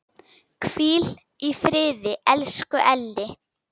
Hvíl í friði, elsku Elli.